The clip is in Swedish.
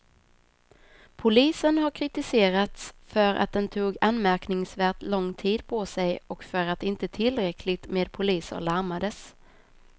Polisen har kritiserats för att den tog anmärkningsvärt lång tid på sig och för att inte tillräckligt med poliser larmades.